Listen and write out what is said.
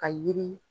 Ka yiri